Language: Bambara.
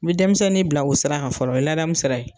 I bɛ denmisɛnnin bila o sira kan fɔlɔ o ye ladamun sira ye.